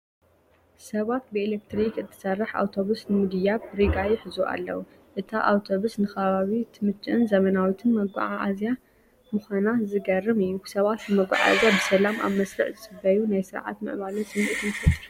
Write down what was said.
ሰባት ብኤሌክትሪክ እትሰርሕ ኣውቶቡስ ንምድያብ ሪጋ ይሕዙ ኣለዉ። እታ ኣውቶቡስ ንከባቢ እትምችእን ዘመናዊትን መጓዓዝያ ምዃና ዝገርም እዩ። ሰባት ንመጓዓዝያ ብሰላም ኣብ መስርዕ ዝጽበዩ ናይ ስርዓትን ምዕባለን ስምዒት ይፈጥር።